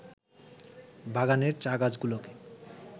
বাগানের চা-গাছগুলোকে